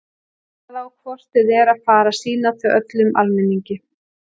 Það á hvort eð er að fara að sýna þau öllum almenningi.